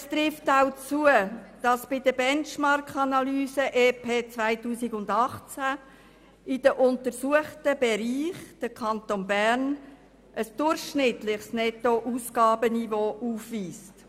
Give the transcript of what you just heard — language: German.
Es trifft zu, dass der Kanton Bern bei den Benchmarkanalysen im EP 2018 in den untersuchten Bereichen ein durchschnittliches Nettoausgabenniveau aufweist.